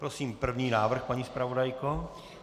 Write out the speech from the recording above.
Prosím první návrh, paní zpravodajko.